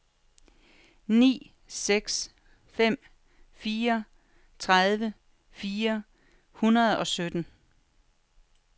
ni seks fem fire tredive fire hundrede og sytten